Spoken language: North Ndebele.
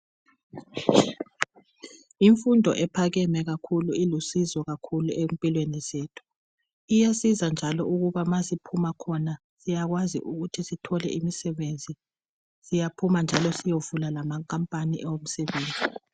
Imfundo ephakeme ilusizo kakhulu empilweni zethu, iyasiza njalo ukuba ma siphuma khona siyakwazi ukuthi sithole imisebenzi siyovula lamakhampani awomsebenzi.